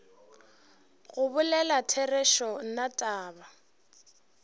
go bolela therešo nna taba